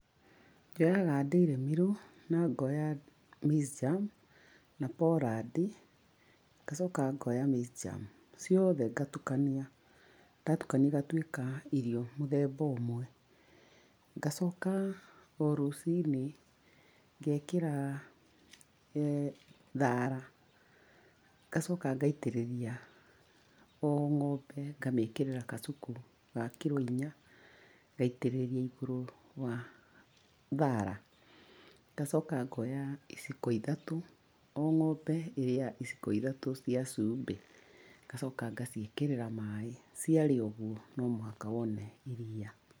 Njoyaga dairy meal na ngaoya maize germ, na pollard. Ngacoka ngaoya maize germ, ciothe ngatukania, ndatukania igatuĩka irio mũthemba ũmwe. Ngacoka o rũciinĩ ngeekĩra thaara, ngacoka ngaitĩrĩria, o ng'ombe ngamĩĩkĩrĩra kacuku ga kiro inya, ngaitĩrĩria igũrũ wa thaara. Ngacoka ngaoya iciko ithatũ, o ng'ombe ĩrĩaga iciko ithatũ cai cumbĩ, ngacoka ngaciĩkĩrĩra maaĩ. Cia rĩa ũguo, no mũhaka wone iria.